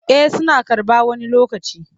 Eh suna karɓa wani lokacin.